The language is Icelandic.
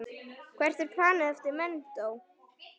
Hvert er planið eftir menntó?